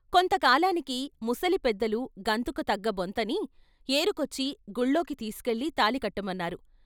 కొంత కాలానికి ముసలి పెద్దలు గంతకు తగ్గ బొంతని ఏరుకొచ్చి గుళ్ళోకి తీసుకెళ్ళి తాళి కట్టమన్నారు.